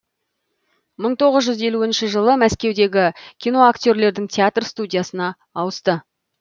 мың тоғыз жүз елуінші жылы мәскеудегі киноактерлердің театр студиясына ауысты